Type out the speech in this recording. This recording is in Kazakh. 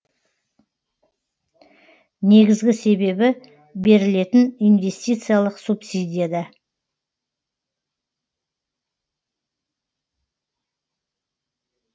негізгі себебі берілетін инвестициялық субсидияда